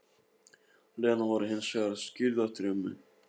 Lena var hins vegar skírð eftir ömmu